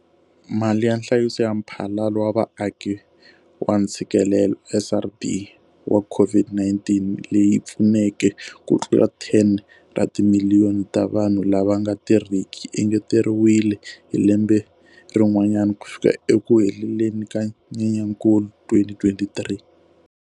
Mali ya Nhlayiso ya Mphalalo wa Vaaki wa Ntshikelelo, SRD, wa COVID-19, leyi pfuneke kutlula 10 ra timiliyoni ta vanhu lava nga tirhiki, yi engeteriwile hi lembe rin'wana - ku fika ekuheleni ka Nyenyankulu 2023.